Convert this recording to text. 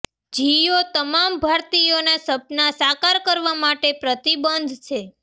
જિયો તમામ ભારતીયોના સપના સાકાર કરવા માટે પ્રતિબદ્ધ છે